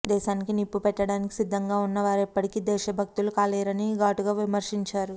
దేశానికి నిప్పుపెట్టడానికి సిద్ధంగా ఉన్నవారు ఎప్పటికీ దేశభక్తులు కాలేరని ఘాటుగా విమర్శించారు